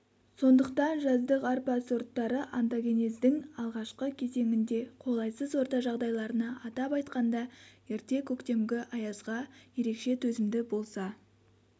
сондықтан жаздық арпа сорттары онтагенездің алғашқы кезеңінде қолайсыз орта жағдайларына атап айтқанда ерте көктемгі аязға ерекше төзімді болса